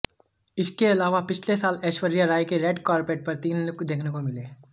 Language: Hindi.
इसके अलावा पिछले साल ऐश्वर्या राय के रेड कार्पेट पर तीन लुक देखने को मिले